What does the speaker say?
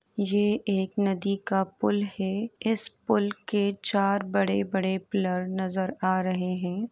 ये एक नदी का पुल है। इस पुल के चार बड़े बड़े पिलर नजर आ रहे हैं।